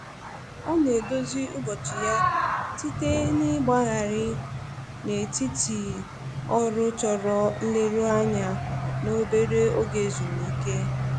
Ọ na-edozi ụbọchị ya site n'ịgbagharị n'etiti ọrụ chọrọ nleruanya na obere oge ezumike